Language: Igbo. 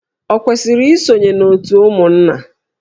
O kwesiri isonye na òtù ụmụnna?